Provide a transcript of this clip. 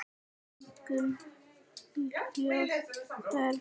Fengum óljós svör.